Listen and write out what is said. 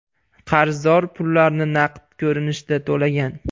Qarzdor pullarni naqd ko‘rinishda to‘lagan.